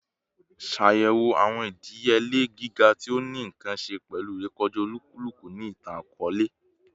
Ṣayẹwo awọn idiyele giga ti o ni nkan ṣe pẹlu irekọja olukuluku ni itan-akọọlẹ